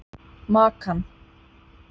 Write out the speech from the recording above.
Makan